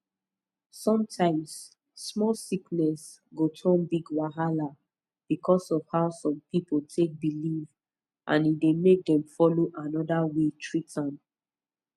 sometimes small sickness go turn big wahala because of how some people take believe and e dey make dem follow another way treat am